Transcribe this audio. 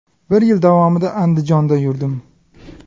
Bir yil davomida Andijonda yurdim.